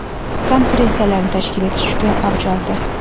konferensiyalarni tashkil etish juda avj oldi.